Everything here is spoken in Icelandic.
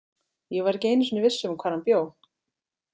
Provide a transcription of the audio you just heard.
Ég var ekki einu sinni viss um hvar hann bjó.